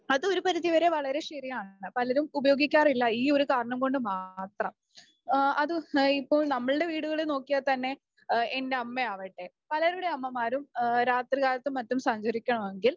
അത് ഒരു പരിധി വരെ വളരെ ശരിയാണ് പലരും ഉപയോഗിക്കാറില്ല ഈ ഒരു കാരണം കൊണ്ട് മാത്രം. അതും ഇപ്പം നമ്മളുടെ വീടുകളിൽ നോക്കിയാൽ തന്നെ എന്റെ അമ്മയാവട്ടെ പലരുടെ അമ്മമാരും രാത്രി കാലത്തും മറ്റും സഞ്ചരിക്കണമെങ്കിൽ